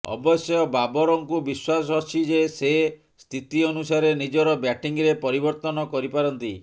ଅବଶ୍ୟ ବାବରଙ୍କୁ ବିଶ୍ବାସ ଅଛି ଯେ ସେ ସ୍ଥିତି ଅନୁସାରେ ନିଜର ବ୍ୟାଟିଂରେ ପରିବର୍ତ୍ତନ କରିପାରନ୍ତି